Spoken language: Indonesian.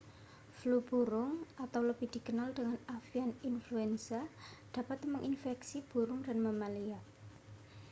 flu burung atau lebih dikenal dengan avian influenza dapat menginfeksi burung dan mamalia